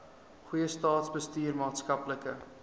goeie staatsbestuur maatskaplike